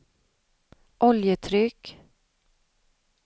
oljetryck